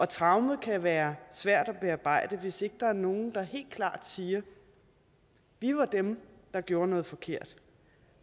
traumet kan være svært at bearbejde hvis ikke der er nogen der helt klart siger vi var dem der gjorde noget forkert